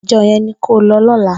Ijò yèn ni kó lò lòlá